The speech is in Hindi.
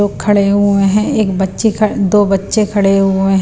खड़े हुए हैं एक बच्चे दो बच्चे खड़े हुए हैं।